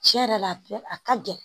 Tiɲɛ yɛrɛ la a ka gɛlɛn